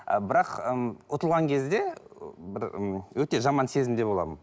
ы бірақ ым ұтылған кезде бір м өте жаман сезімде боламын